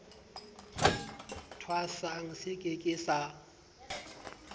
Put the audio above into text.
thwasang se ke ke sa